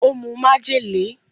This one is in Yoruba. Ó mu májèlé.